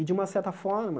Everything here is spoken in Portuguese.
E, de uma certa forma,